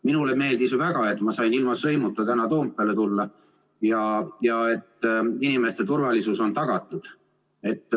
Minule meeldis väga, et ma sain ilma sõimuta täna Toompeale tulla ja et inimeste turvalisus on tagatud.